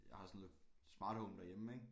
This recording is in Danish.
Jeg har sådan et Smart Home derhjemme ikke